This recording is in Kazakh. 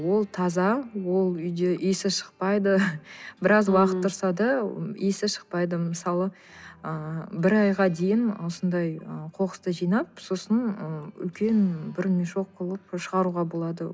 ол таза ол үйде иісі шықпайды біраз уақыт тұрса да иісі шықпайды мысалы ы бір айға дейін осындай ы қоқысты жинап сосын ы үлкен бір мешок қылып шығаруға болады